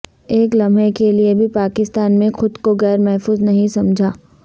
ایک لمحے کے لیے بھی پاکستان میں خود کو غیر محفوظ نہیں سمجھا